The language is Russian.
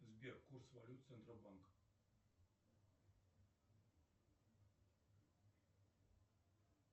сбер курс валют центробанка